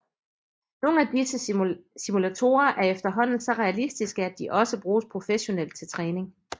Nogle af disse simulatorer er efterhånden så realistiske at de også bruges professionelt til træning